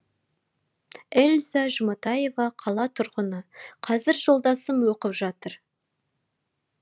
эльза жұматаева қала тұрғыны қазір жолдасым оқып жатыр